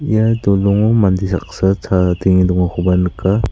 ia dolongo mande saksa chadenge dongakoba nika.